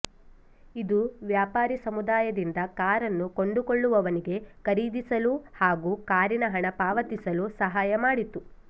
ಇದು ವ್ಯಾಪಾರಿ ಸಮುದಾಯದಿಂದ ಕಾರನ್ನು ಕೊಂಡುಕೊಳ್ಳುವವನಿಗೆ ಖರೀದಿಸಲು ಹಾಗು ಕಾರಿನ ಹಣ ಪಾವತಿಸಲು ಸಹಾಯ ಮಾಡಿತು